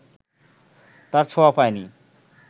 তার ছোঁয়া পায় নি